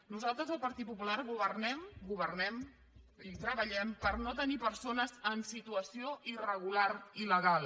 nosaltres el partit popular governem i treballem per no tenir persones en situació irregular i il·legal